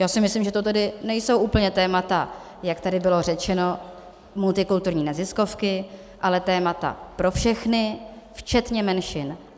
Já si myslím, že to tedy nejsou úplně témata, jak tady bylo řečeno, multikulturní neziskovky, ale témata pro všechny, včetně menšin.